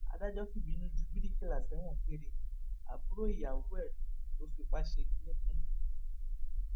adájọ fìbínú ju bíríkìlà sẹwọn gbére àbúrò ìyàwó ẹ lọ fipá ṣe kínní fún